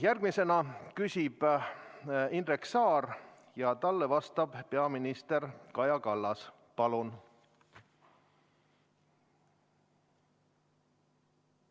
Järgmisena küsib Indrek Saar ja talle vastab peaminister Kaja Kallas.